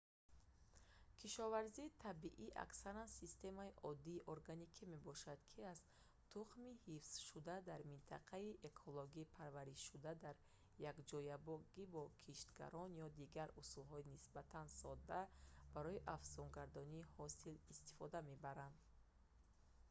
кишоварзии табиӣ аксаран системаи оддии органикӣ мебошад ки аз тухмии ҳифзшудаи дар минтақаи экологӣ парваришшуда дар якҷоягӣ бо киштгардон ё дигар усулҳои нисбатан содда барои афзунгардонии ҳосил истифода мебарад